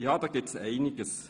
– Ja, da gibt es Einiges.